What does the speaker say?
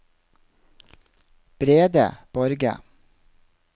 Brede Borge